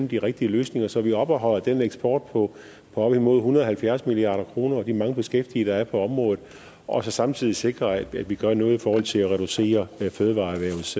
de rigtige løsninger så vi opretholder den eksport på op imod en hundrede og halvfjerds milliard kroner og de mange beskæftigede der er på området og så samtidig sikrer at vi gør noget i forhold til at reducere fødevareerhvervets